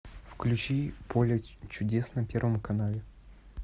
включи поле чудес на первом канале